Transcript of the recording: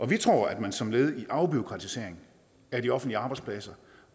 vi tror at man som et led i afbureaukratiseringen at de offentlige arbejdspladser